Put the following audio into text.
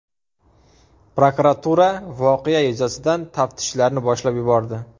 Prokuratura voqea yuzasidan taftishlarni boshlab yubordi.